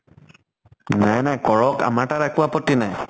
নাই নাই কৰক। আমাৰ তাত একো আপত্তি নাই।